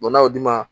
n'a y'o di ma